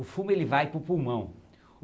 O fumo ele vai para o pulmão.